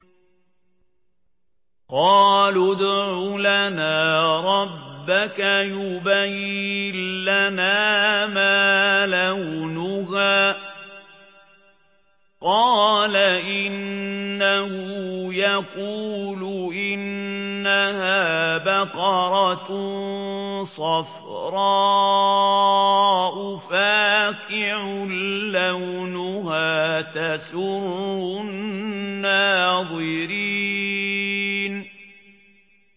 قَالُوا ادْعُ لَنَا رَبَّكَ يُبَيِّن لَّنَا مَا لَوْنُهَا ۚ قَالَ إِنَّهُ يَقُولُ إِنَّهَا بَقَرَةٌ صَفْرَاءُ فَاقِعٌ لَّوْنُهَا تَسُرُّ النَّاظِرِينَ